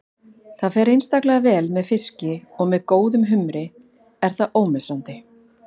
Það fer einstaklega vel með fiski og með góðum humri er það ómissandi.